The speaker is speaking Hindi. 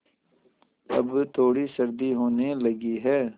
अब थोड़ी सर्दी होने लगी है